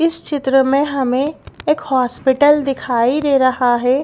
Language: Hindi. इस चित्र में हमें एक हॉस्पिटल दिखाई दे रहा है।